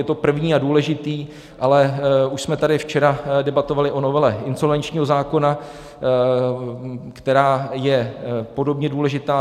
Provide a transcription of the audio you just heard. Je to první a důležitý, ale už jsme tady včera debatovali o novele insolvenčního zákona, která je podobně důležitá.